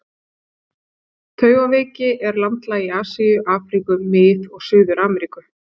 Taugaveiki er landlæg í Asíu, Afríku, Mið- og Suður-Ameríku.